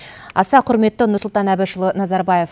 аса құрметті нұрсұлтан әбішұлы назарбаев